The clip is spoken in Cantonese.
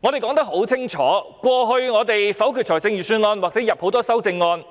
我們說得很清楚，過去否決預算案或提出許多修正案，